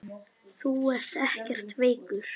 Þú ert ekkert veikur.